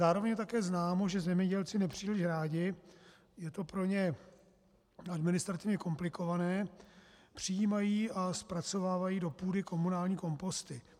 Zároveň je také známo, že zemědělci nepříliš rádi, je to pro ně administrativně komplikované, přijímají a zpracovávají do půdy komunální komposty.